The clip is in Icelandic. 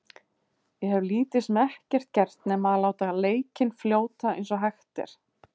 Ég hef lítið sem ekkert gert nema að láta leikinn fljóta eins og hægt er.